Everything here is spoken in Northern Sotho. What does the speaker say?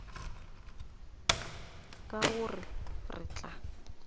ka go re re tla